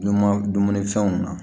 Numan dumunifɛnw na